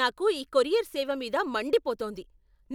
నాకు ఈ కొరియర్ సేవ మీద మండిపోతోంది.